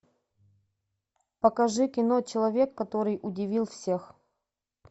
покажи кино человек который удивил всех